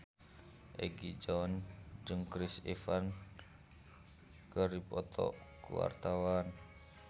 Egi John jeung Chris Evans keur dipoto ku wartawan